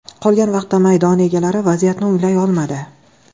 Qolgan vaqtda maydon egalari vaziyatni o‘nglay olmadi.